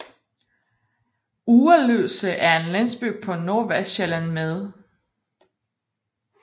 Ugerløse er en landsby på Nordvestsjælland med